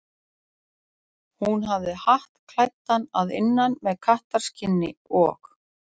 Hún hafði hatt klæddan að innan með kattarskinni og.